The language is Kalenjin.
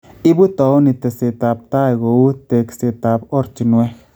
Ibu towuniit teseetaab tai kou tekseetaab oratinweek